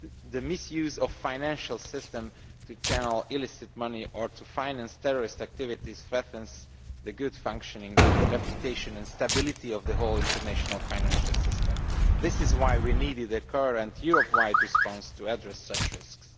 The misuse of the financial system to channel illicit money or to finance terrorist activities threatens the good functioning, reputation and stability of the whole international financial system. This is why we needed the current Europe wide response to address such risks.